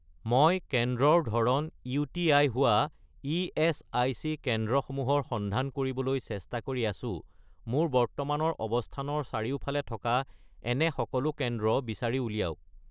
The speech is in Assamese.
মই কেন্দ্ৰৰ ধৰণ ইউ.টি.আই. হোৱা ইএচআইচি কেন্দ্ৰসমূহৰ সন্ধান কৰিবলৈ চেষ্টা কৰি আছোঁ, মোৰ বৰ্তমানৰ অৱস্থানৰ চাৰিফালে থকা এনে সকলো কেন্দ্ৰ বিচাৰি উলিয়াওক